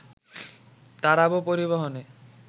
তারাবো পরিবহনে